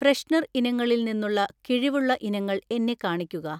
freshener ഇനങ്ങളിൽ നിന്നുള്ള കിഴിവുള്ള ഇനങ്ങൾ എന്നെ കാണിക്കുക